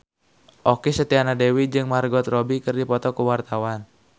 Okky Setiana Dewi jeung Margot Robbie keur dipoto ku wartawan